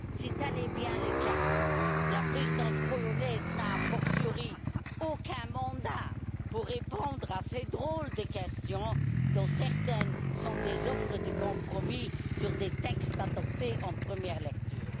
Si tel est bien le cas, la présidence polonaise n'a, a fortiori, aucun mandat pour répondre à ces drôles de questions, dont certaines sont des offres de compromis sur des textes adoptés en première lecture.